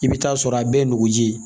I bɛ taa sɔrɔ a bɛɛ ye nugu ji ye